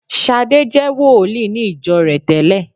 Ṣadé je wòlíì ní ìjọ rẹ̀ tẹ́lẹ̀